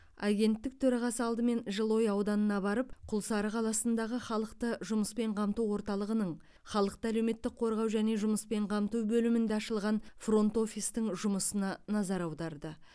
агенттік төрағасы алдымен жылыой ауданына барып құлсары қаласындағы халықты жұмыспен қамту орталығының халықты әлеуметтік қорғау және жұмыспен қамту бөлімінде ашылған фронт офистің жұмысына назар аударды